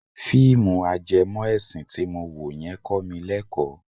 Fíìmù ajẹmọ ẹ̀sìn ti mo wo yẹn kọ mi lẹ́kọ̀ọ́.